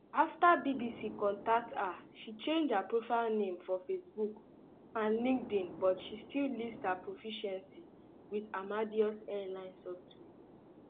afta bbc contact her she change her profile name for facebook and linkedin but um she still list her proficiency with amadeus um airline software